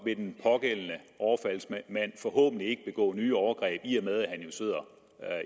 vil den pågældende overfaldsmand forhåbentlig ikke begå nye overgreb i og med at han jo sidder